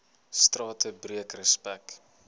strate breek respek